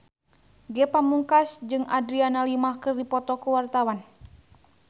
Ge Pamungkas jeung Adriana Lima keur dipoto ku wartawan